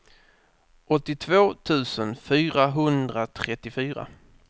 åttiotvå tusen fyrahundratrettiofyra